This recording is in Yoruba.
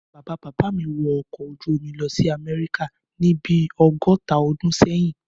Bàbá bàbá mi wọ ọkọ̀ ojú-omi lọ sí Amẹ́ríkà ní bí ọgọ́ta ọdún sẹ́yìn